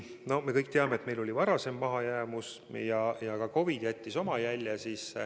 Me kõik teame, et meil oli juba varem mahajäämus ja nüüd on ka COVID jätnud oma jälje.